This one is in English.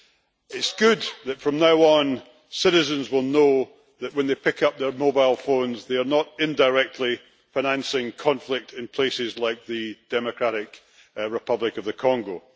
It is good that from now on citizens will know that, when they pick up their mobile phones, they are not indirectly financing conflict in places like the Democratic Republic of the Congo.